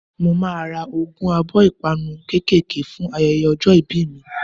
Màá a ra ogún abó 'ìpanu kékèké' fún ayeye ojó ibí mi